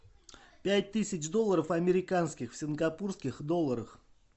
пять тысяч долларов американских в сингапурских долларах